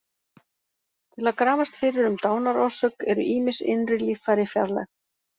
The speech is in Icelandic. Til að grafast fyrir um dánarorsök eru ýmis innri líffæri fjarlægð.